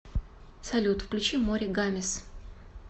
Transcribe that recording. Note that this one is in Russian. салют включи море гамес